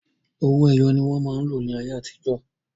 Owó ẹyọ ni wọn máa ń lò ní ayé àtijọ́